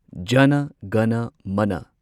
ꯖꯅ ꯒꯅ ꯃꯅ